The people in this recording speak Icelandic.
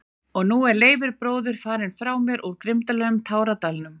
Og nú er Leifur bróðir farinn frá mér úr grimmum táradalnum.